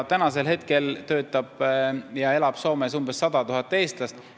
Praegu töötab ja elab Soomes umbes 100 000 eestlast.